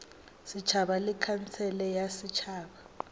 setšhaba le khansele ya setšhaba